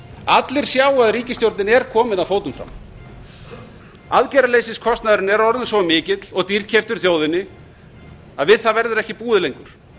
allir sjá að ríkisstjórnin er komin að fótum fram aðgerðaleysiskostnaðurinn er orðinn svo mikill og dýrkeyptur þjóðinni að við það verður ekki búið lengur